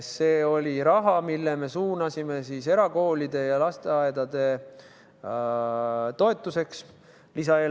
See oli raha, mille me suunasime lisaeelarve kaudu erakoolide ja lasteaedade toetamisse.